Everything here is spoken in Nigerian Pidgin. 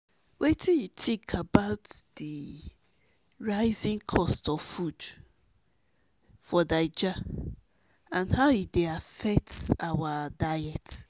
wetin you think about di rising cost of food in naija and how e dey affect our diet?